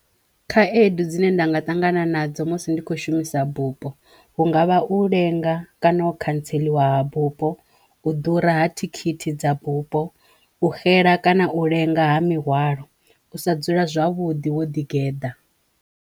Khaedu dzine nda nga ṱangana nadzo musi ndi kho shumisa bupo hu nga vha u lenga kana u khantseliwa bupo, u ḓura ha thikhithi dza bupo, u xela kana u lenga ha mihwalo, u sa dzula zwavhuḓi wo ḓi geḓa.